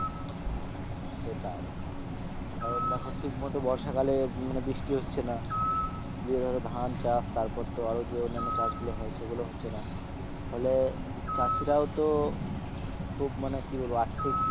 সেটাই কারণ দেখো ঠিকমত বর্ষাকালে মানে বৃষ্টি হচ্ছে না যে ধান চাষ তারপর তো আরও যে অন্যান্য চাষগুলো হয় সেগুলো হচ্ছে না, ফলে চাষীরও তো খুব মানে কি বলবো আর্থিক,